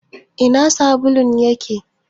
Ina sabulun yake?